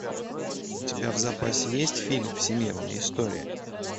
у тебя в запасе есть фильм всемирная история